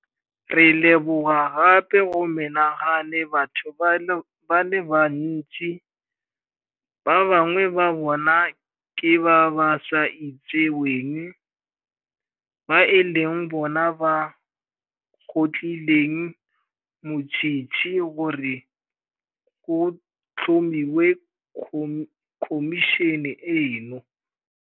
Re leboga gape go menagane batho ba le bantsi, ba ba bangwe ba bona ke ba ba sa itseweng, ba e leng bona ba kgotlhileng motshitshi gore go tlhomiwe khomišene eno.